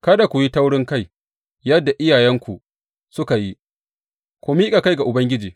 Kada ku yi taurinkai, yadda iyayenku suka yi; ku miƙa kai ga Ubangiji.